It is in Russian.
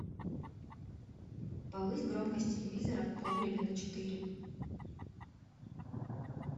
повысь громкость телевизора в погребе на четыре